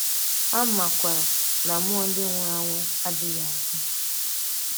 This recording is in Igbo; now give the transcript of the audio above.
Ha makwàrà na mmụọ nke ndị nwùrù anwụ adìghị adị.